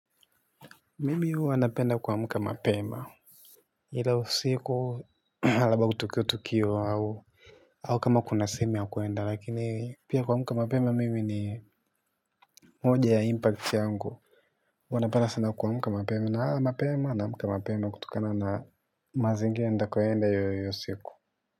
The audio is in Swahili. Mimi hua napenda kwa muka mapema. Hila usiku labda kutukio tukio au. Au kama kuna sehemu ya kuenda lakini pia kwamuka mapema mimi ni moja ya impulse yangu. Wanapada sana kwamuka mapema na mapema naamuka mapema kutukana na mazingira ndakoenda yoyo siku.